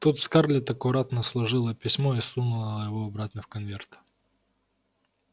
тут скарлетт аккуратно сложила письмо и сунула его обратно в конверт